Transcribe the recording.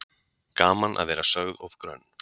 Gaman að vera sögð of grönn